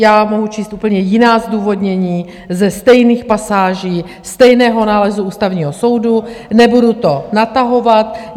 Já mohu číst úplně jiná zdůvodnění ze stejných pasáží stejného nálezu Ústavního soudu, nebudu to natahovat.